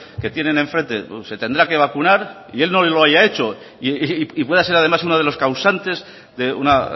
que tienen en frente se tendrá que vacunar y él no lo haya hecho y puede ser además uno de los causantes de una